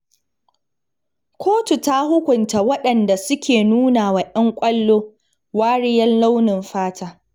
Kotu ta hukunta wadanda suke nuna wa ƴan kwallo wariyar launin fata.